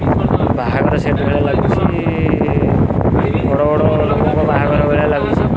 ବାହାଘର ସେଟ୍ ଭଳିଆ ଲାଗୁଚି ବଡ ବଡ ନେତାଙ୍କ ବାହାଘର ଭଳିଆ ଲାଗୁଚି।